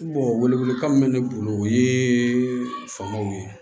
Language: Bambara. wele wele kan min bɛ ne bolo o ye fangaw ye